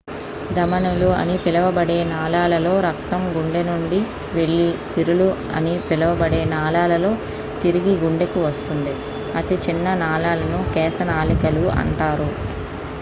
ధమనులు అని పిలువబడే నాళాలలో రక్తం గుండె నుండి వెళ్లి సిరలు అని పిలువబడే నాళాలలో తిరిగి గుండెకు వస్తుంది అతి చిన్న నాళాలను కేశనాళికలు అంటారు